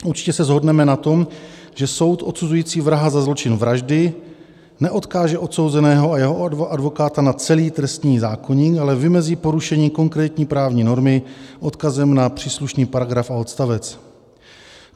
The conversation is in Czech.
Určitě se shodneme na tom, že soud odsuzující vraha za zločin vraždy neodkáže odsouzeného a jeho advokáta na celý trestní zákoník, ale vymezí porušení konkrétní právní normy odkazem na příslušný paragraf a odstavec.